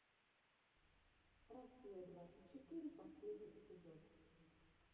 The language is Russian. россия двадцать четыре последний эпизод